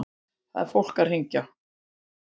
Það er fólk að hringja.